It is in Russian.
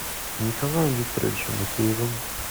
николаем викторовичем макеевым